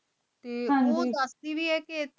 ਹਾਂਜੀ ਊ ਸਚ ਵੀ ਆਯ ਕੇ